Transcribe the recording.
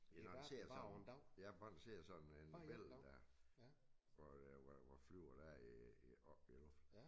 Det garanteret sådan ja bare der sidder sådan en væld der hvor øh hvor hvor flyver der i op i æ luft